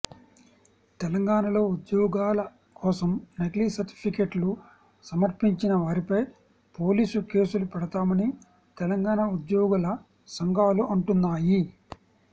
తెలంగాణలో ఉద్యోగాల కోసం నకిలీ సర్టిఫికెట్లు సమర్పించినవారిపై పోలీసు కేసులు పెడుతామని తెలంగాణ ఉద్యోగుల సంఘాలు అంటున్నాయి